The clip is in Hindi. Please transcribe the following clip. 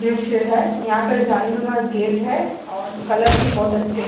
दृश्य है। यहां पर जालीनुमा गेट है और कलर भी बहुत अच्छे --